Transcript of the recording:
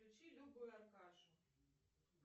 включи любу и аркашу